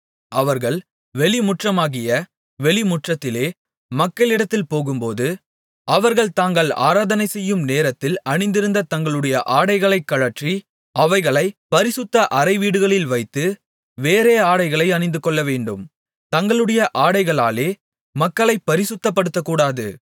அவர்கள் வெளிமுற்றமாகிய வெளிமுற்றத்திலே மக்களிடத்தில் போகும்போது அவர்கள் தாங்கள் ஆராதனைசெய்யும் நேரத்தில் அணிந்திருந்த தங்களுடைய ஆடைகளைக் கழற்றி அவைகளைப் பரிசுத்த அறைவீடுகளில் வைத்து வேறே ஆடைகளை அணிந்துகொள்ள வேண்டும் தங்களுடைய ஆடைகளாலே மக்களைப் பரிசுத்தப்படுத்தக்கூடாது